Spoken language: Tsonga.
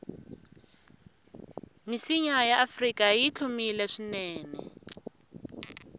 misinya yaafrika yihlumile swinene